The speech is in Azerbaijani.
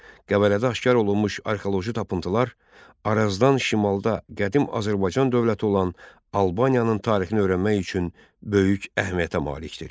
Qəbələdə aşkar olunmuş arxeoloji tapıntılar Arazdan şimalda qədim Azərbaycan dövləti olan Albaniyanın tarixini öyrənmək üçün böyük əhəmiyyətə malikdir.